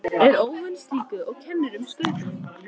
Er óvön slíku og kennir um Skaupinu.